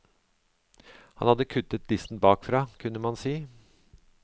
Han hadde kuttet listen bakfra, kunne man si.